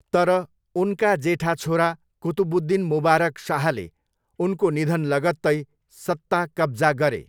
तर, उनका जेठा छोरा कुतुबुद्दिन मुबारक शाहले उनको निधन लगत्तै सत्ता कब्जा गरे।